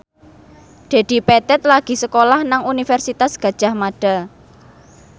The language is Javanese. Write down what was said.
Dedi Petet lagi sekolah nang Universitas Gadjah Mada